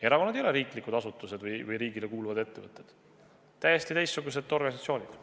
Erakonnad ei ole riiklikud asutused või riigile kuuluvad ettevõtted, need on täiesti teistsugused organisatsioonid.